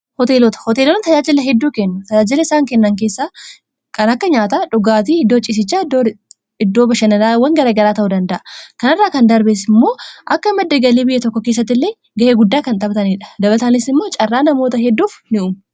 hooteelota hooteelonni tajaajilla hedduu kennu tajaajilla isaan kennan keessaa akka nyaata dhugaatii hiddoo ciisichaa iddooba shanalawwan garagaraa ta'uu danda'a kanarraa kan darbeessi immoo akka maddagalii biyya tokko keessatti illee ga'ee guddaa kan xaphtaniidha dabataanis immoo caarraa namoota hedduuf ni'u